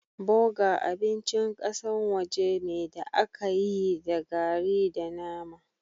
Burger abincin kasan waje me da aka yi da garri da nama.